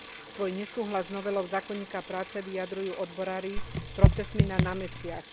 Svoj nesúhlas s novelou zákonníka práce vyjadrujú odborári protestmi na námestiach.